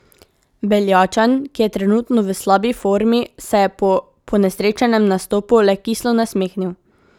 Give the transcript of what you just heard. Beljačan, ki je trenutno v slabi formi, se je po ponesrečenem nastopu le kislo nasmehnil.